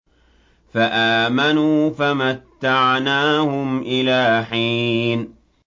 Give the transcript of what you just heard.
فَآمَنُوا فَمَتَّعْنَاهُمْ إِلَىٰ حِينٍ